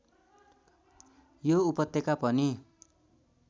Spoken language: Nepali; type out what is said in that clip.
यो उपत्यका पनि